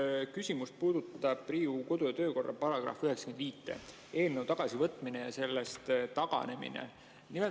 Minu küsimus puudutab Riigikogu kodu- ja töökorra § 95: eelnõu tagasivõtmine ja sellest taganemine.